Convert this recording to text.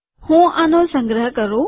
હું આનો સંગ્રહ કરું